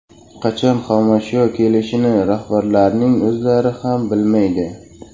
Qachon xomashyo kelishini rahbarlarning o‘zlari ham bilmaydi.